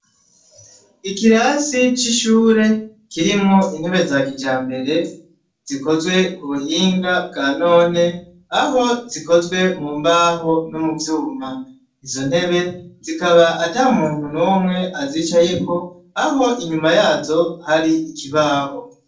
Ikirasi c'ishure kirimwo intebe za kija mbere zikozwe ku buhinga bwa none aho zikozwe mu mbaho no mu vyuma izo ntebe zikaba ata muntu n'umwe azicayeko aho inyuma yazo hari ikibaho.